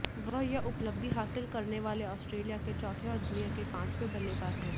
वह यह उपलब्धि हासिल करने वाले ऑस्ट्रेलिया के चौथे और दुनिया के पांचवें बल्लेबाज हैं